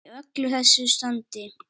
Í öllu þessu standi.